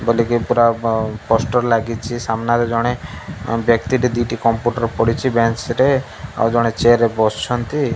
ପୁରା ପ ପୋଷ୍ଟର ଲାଗିଚି ସାମ୍ନାରେ ଜଣେ ଏଂ ବ୍ୟକ୍ତି ଟେ ଦିଟି କମ୍ପ୍ୟୁଟର୍ ପଡ଼ିଚି ବେଞ୍ଚ୍ ରେ ଆଉ ଜଣେ ଚେୟାର ରେ ବସଛନ୍ତି।